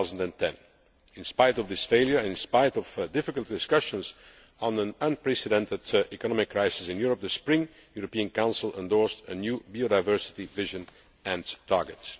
2010. In spite of this failure, and in spite of difficult discussions on an unprecedented economic crisis in Europe, the Spring European Council endorsed a new biodiversity vision and target.